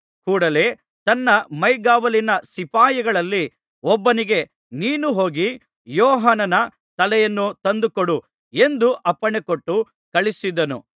ಕೂಡಲೆ ತನ್ನ ಮೈಗಾವಲಿನ ಸಿಪಾಯಿಗಳಲ್ಲಿ ಒಬ್ಬನಿಗೆ ನೀನು ಹೋಗಿ ಯೋಹಾನನ ತಲೆಯನ್ನು ತಂದುಕೊಡು ಎಂದು ಅಪ್ಪಣೆಕೊಟ್ಟು ಕಳುಹಿಸಿದನು